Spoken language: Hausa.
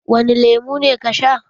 Wani lemu ne ka sha?